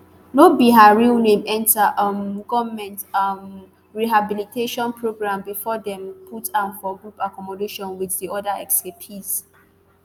no be her real name enta um goment um rehabilitation programme bifor dem put am for group accommodation wit di oda escapees